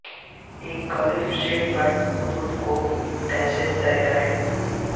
ایک golf shaft پر خطوط کو کیسے طے کریں